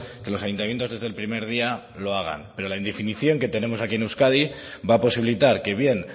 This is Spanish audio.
que los ayuntamientos desde el primer día lo hagan pero la indefinición que tenemos aquí en euskadi va a posibilitar que bien